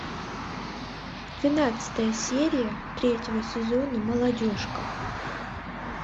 двенадцатая серия третьего сезона молодежка